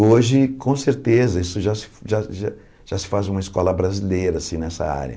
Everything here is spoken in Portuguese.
Hoje, com certeza, isso já se já já se faz uma escola brasileira assim nessa área.